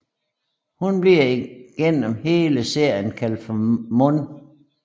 Hun bliver igennem hele serien kaldt for Mon